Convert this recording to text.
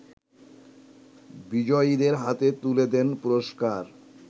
বিজয়ীদের হাতে তুলে দেন পুরষ্কার